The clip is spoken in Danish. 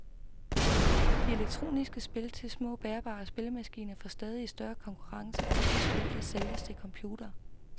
De elektroniske spil til små bærbare spillemaskiner får stadig større konkurrence fra de spil, der sælges til computere.